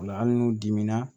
Ola hali n'u dimina